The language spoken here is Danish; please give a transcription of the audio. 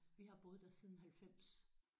Vi har boet der siden 90